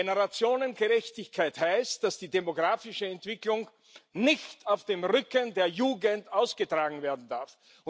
Generationengerechtigkeit heißt, dass die demografische Entwicklung nicht auf dem Rücken der Jugend ausgetragen werden darf.